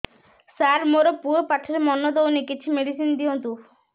ସାର ମୋର ପୁଅ ପାଠରେ ମନ ଦଉନି କିଛି ମେଡିସିନ ଦିଅନ୍ତୁ